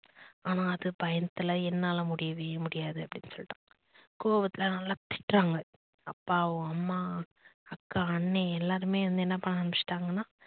ஆனா அது பயத்துல என்னால முடியவே முடியாது அப்படின்னு சொல்லிட்டு கோவத்துல நல்லா திட்டுறாங்க அப்பாவும், அம்மா, அக்கா, அண்ணே எல்லாருமே வந்து என்ன பண்ண ஆரம்பிச்சிட்டாங்கனா